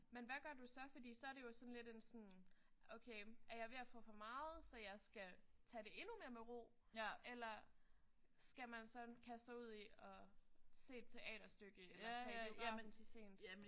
Men hvad gør du så? Fordi så er det jo sådan lidt en sådan okay er jeg ved at få for meget så jeg skal tage det endnu mere med ro eller skal man sådan kaste sig ud i at se et teaterstykke eller tage i biografen til sent?